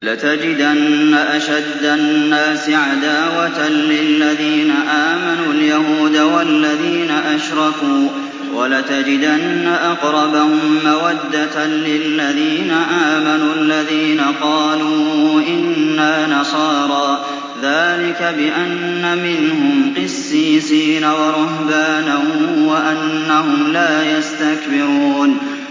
۞ لَتَجِدَنَّ أَشَدَّ النَّاسِ عَدَاوَةً لِّلَّذِينَ آمَنُوا الْيَهُودَ وَالَّذِينَ أَشْرَكُوا ۖ وَلَتَجِدَنَّ أَقْرَبَهُم مَّوَدَّةً لِّلَّذِينَ آمَنُوا الَّذِينَ قَالُوا إِنَّا نَصَارَىٰ ۚ ذَٰلِكَ بِأَنَّ مِنْهُمْ قِسِّيسِينَ وَرُهْبَانًا وَأَنَّهُمْ لَا يَسْتَكْبِرُونَ